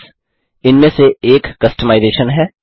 themes इन में से एक कस्टमाइजेशन है